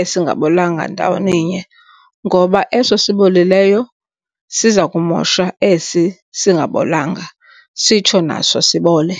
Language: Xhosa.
esingabolanga ndawoninye ngoba eso sibolileyo siza kumosha esi singabolanga sitsho naso sibole.